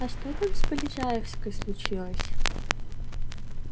а что там с полежаевской случилось